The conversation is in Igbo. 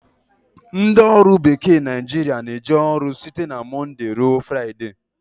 Ndị ọrụ bekee Naijiria na-eje ọrụ site na monde ruo Friday